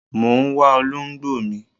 Mọ ń wá olóǹgbò mi.